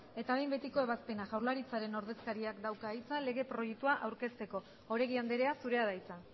eta behin betiko ebazpena jaurlaritzaren ordezkariak dauka hitza lege proiektua aurkezteko oregi andrea zurea da hitza